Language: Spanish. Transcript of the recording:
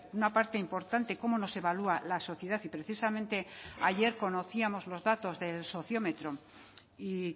una parte importante cómo nos evalúa la sociedad y precisamente ayer conocíamos los datos del sociómetro y